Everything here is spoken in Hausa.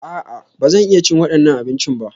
A'a, ba zan iya cin waɗannan abincin ba.